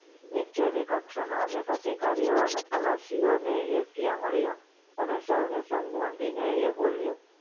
નીચેની કક્ષાના અનેક અધિકારીઓ અને ખલાસીઓને એ ત્યાં મળ્યો અને સૌને સંબોધીને એ બોલ્યો